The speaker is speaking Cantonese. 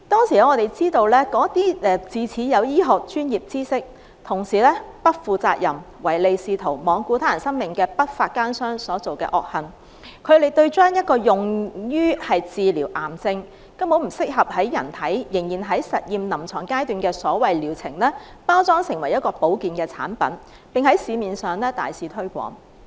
據我們所知，那些自恃有醫學專業知識、同時又不負責任、唯利是圖、罔顧他人生命的不法奸商的惡行，是將用於治療癌症、仍然在臨床實驗階段、根本不適合在人體使用的所謂療程，包裝成為保健產品在市面大肆推廣。